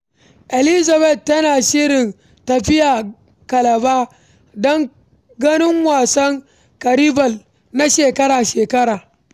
Elizabeth tana shirin tafiya Calabar don ganin wasan kanibal na shekara-shekara.